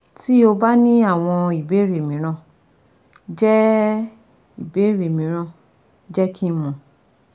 Ti o ba ni awọn ibeere miiran, jẹ ibeere miiran, jẹ ki n mọ